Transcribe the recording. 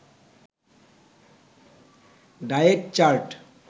diet chart